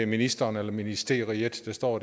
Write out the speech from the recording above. ministeren eller ministeriet der står